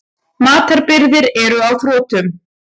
Matarbirgðir eru á þrotum.